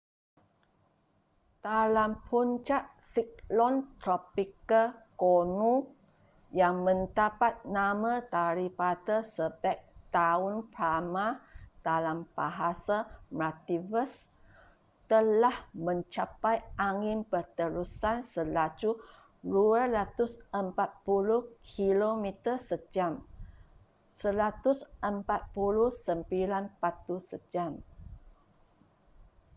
dalam puncak siklon tropika gonu yang mendapat nama daripada sebeg daun palma dalam bahasa maldives telah mencapai angin berterusan selaju 240 kilometer sejam 149 batu sejam